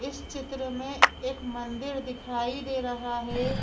इस चित्र में एक मंदिर दिखाई दे रहा है।